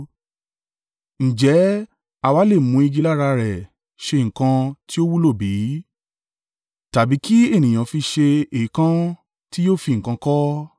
Ǹjẹ́ a wa lè mú igi lára rẹ̀ ṣe nǹkan tí ó wúlò bí? Tàbí kí ènìyàn fi ṣe èèkàn tí yóò fi nǹkan kọ́?